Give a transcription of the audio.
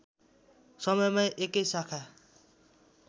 समयमा एकै शाखा